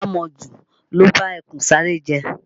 Àmọ̀jù ló ba ẹkùn Sáárẹ́ jẹ́